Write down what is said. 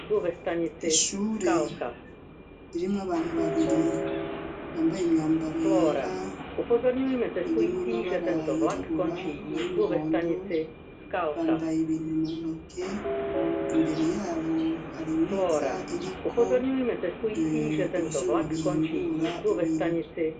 ishure ririmwo abantu babiri bambaye imyambaro yera ririmwo amabara yirabura na y'imuhondo bambaye ibintu muntoke imbere yabo harimeza iriko ivyuma bihingura ibintu